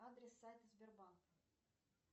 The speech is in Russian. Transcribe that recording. адрес сайта сбербанк